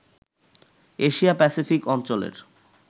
Asia Pacific অঞ্চলের